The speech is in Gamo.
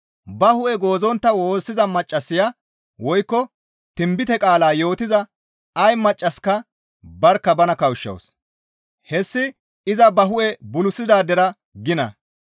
Ba hu7e goozontta woossiza maccassaya woykko tinbite qaala yootiza ay maccasika barkka bana kawushshawus; hessi iza ba hu7e bulisidaadera gina.